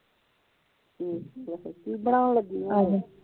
ਕੀ ਬਣੋਂਉਣ ਲਗੀਆ ਆ ਫਿਰ